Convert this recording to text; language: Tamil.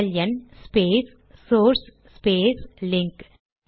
LN space source space link